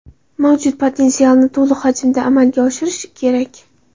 Mavjud potensialni to‘liq hajmda amalga oshirish kerak.